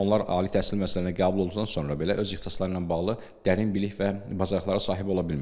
Onlar ali təhsil müəssisəsinə qəbul olduqdan sonra belə öz ixtisasları ilə bağlı dərin bilik və bacarıqlara sahib ola bilmirlər.